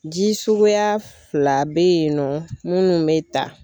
Ji suguya fila be yen nɔ munnu be ta